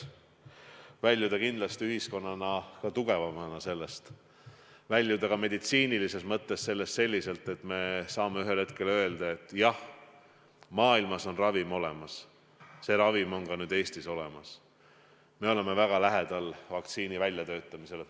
Tahame sellest väljuda ühiskonnana tugevana, meditsiinilises mõttes selliselt, et me saame ühel hetkel öelda, et jah, maailmas on ravim olemas, see ravim on nüüd ka Eestis olemas, me oleme väga lähedal vaktsiini väljatöötamisele.